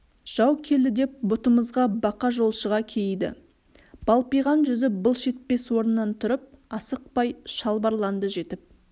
жау келді деп бұтымызға бақа жолшыға кейіді балпиған жүзі былш етпес орнынан тұрып асықпай шалбарланды жетіп